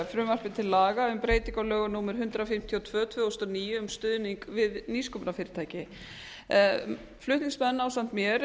frumvarpi til laga um breytingu á lögum númer hundrað fimmtíu og tvö tvö þúsund og níu um stuðning við nýsköpunarfyrirtæki flutningsmenn ásamt mér